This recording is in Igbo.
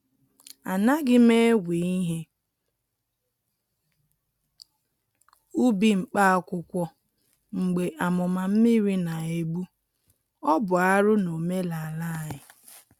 A naghị m ewe ihe ubi mkpa akwụkwọ mgbe amụma mmiri na-egbu-ọ bụ arụ n’omenala anyị.